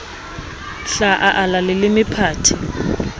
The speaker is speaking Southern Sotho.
hla a ala leleme phate